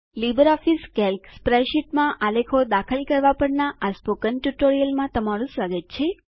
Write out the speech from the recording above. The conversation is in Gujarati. લીબરઓફીસ કેલ્ક સ્પ્રેડશીટમાં આલેખો દાખલ કરવા પરના આ સ્પોકન ટ્યુટોરીયલમાં સ્વાગત છે